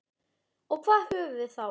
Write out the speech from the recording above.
Og hvað höfum við þá?